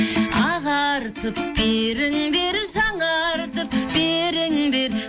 ағартып беріңдер жаңартып беріңдер